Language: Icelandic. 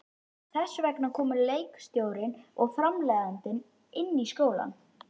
Þess vegna komu leikstjórinn og framleiðandinn í skólann.